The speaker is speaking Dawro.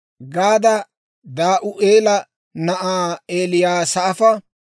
Gaada Da'u'eela na'aa Eliyasaafa,